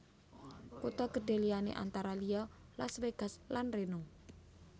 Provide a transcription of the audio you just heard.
Kutha gedhé liyané antara liya Las Vegas lan Reno